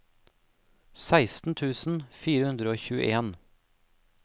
seksten tusen fire hundre og tjueen